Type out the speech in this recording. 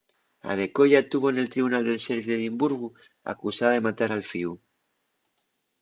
adekoya tuvo nel tribunal del sheriff d’edimburgu acusada de matar al fíu